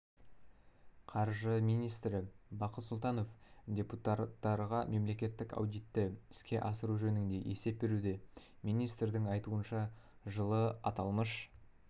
қаржы министрі бақыт сұлтанов депутаттарға мемлекеттік аудитті іске асыру жөнінде есеп беруде министрдің айтуынша жылы аталмыш